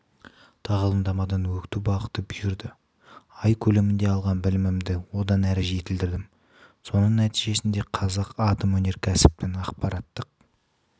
тағылымдамадан өту бақыты бұйырды ай көлемінде алған білімімді одан әрі жетілдірдім соның нәтижесінде қазатомөнеркәсіптің ақпараттық